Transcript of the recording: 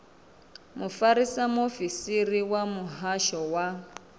mufarisa muofisiri wa muhasho wa